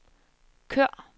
kør